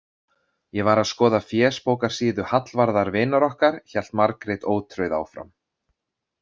Ég var að skoða fésbókarsíðu Hallvarðar vinar okkar, hélt Margrét ótrauð áfram.